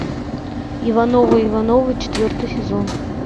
ивановы ивановы четвертый сезон